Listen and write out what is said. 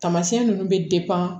Taamasiyɛn nunnu bɛ